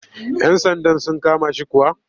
Yan sandan sun kama shi kuwa?